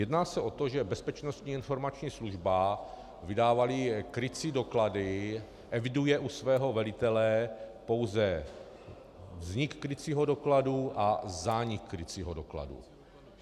Jedná se o to, že Bezpečnostní informační služba vydávala krycí doklady, eviduje u svého velitele pouze vznik krycího dokladu a zánik krycího dokladu.